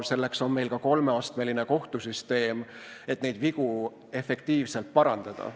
Selleks on meil ka kolmeastmeline kohtusüsteem, et neid vigu efektiivselt parandada.